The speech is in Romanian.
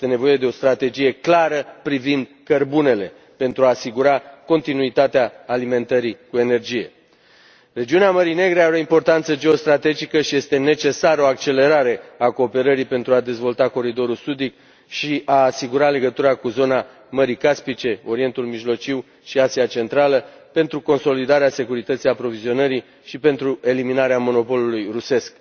Este nevoie de o strategie clară privind cărbunele pentru a asigura continuitatea alimentării cu energie. Regiunea Mării Negre are o importanță geostrategică și este necesară o accelerare a cooperării pentru a dezvolta coridorul sudic și a asigura legătura cu zona Mării Caspice, Orientul Mijlociu și Asia Centrală, pentru consolidarea securității aprovizionării și pentru eliminarea monopolului rusesc.